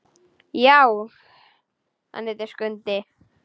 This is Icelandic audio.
Já, hann heitir Skundi.